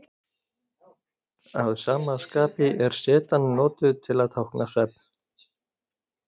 Að sama skapi er zetan notuð til að tákna svefn.